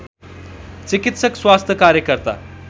चिकित्सक स्वास्थ्य कार्यकर्ता